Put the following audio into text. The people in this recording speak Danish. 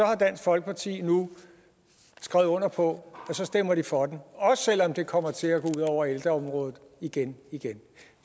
har dansk folkeparti nu skrevet under på at så stemmer de for den også selv om det kommer til at gå over ældreområdet igen igen